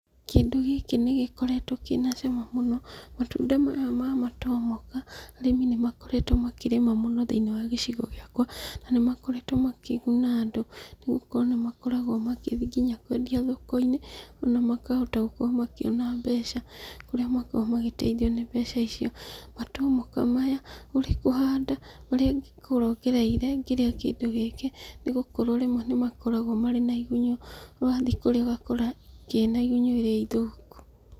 Kĩndũ gĩkĩ nĩgĩkoretwo kĩna cama mũno, matunda maya ma matomoka, arĩmi nĩnmakoretwo makĩrĩma mũno thĩinĩ wa gĩcigo gĩakwa, na nĩmakoretwo makĩguna andũ, nĩgũkorwo nĩmakoragwo magĩthiĩ kwendia nginya thoko-inĩ, na makahota gũkorwo makĩona mbeca, kũrĩa makoragwo magĩtrithio nĩ mbeca icio. Matomoka maya, ũrĩ kũhanda, ũrĩa ingĩkorwo ngereire ngĩrĩa kĩndũ gĩkĩ, nĩgũkorwo rĩmwe nĩmakoragwo marĩ na igunyũ, wathiĩ kũrĩa ũgkora kĩna igunyũ iria thũku.